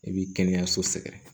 I bi kɛnɛyaso sɛgɛrɛ